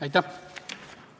Aitäh!